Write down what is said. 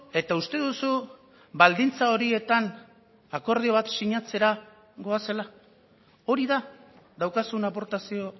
eta uste duzu baldintza horietan akordio bat sinatzera goazela hori da daukazun aportazio